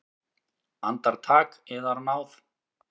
Andartak, yðar náð!